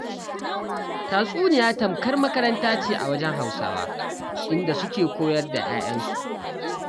Tatsuniya tamkar makaranta ce a wajen Hausawa, inda suke koyar da 'ya'yansu.